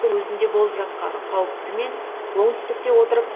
өзінде болып жатқан қауіпті мен оңтүстікте отырып